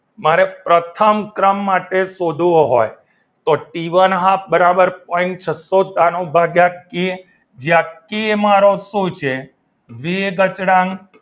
મારે પ્રથમ ક્રમ માટે શોધવો હોય તો ટી વન હાફ બરાબર point છસ્સો ભાગ્યા કે જે આ કે મારો શું છે વેગ અચળાંક